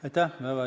Aitäh!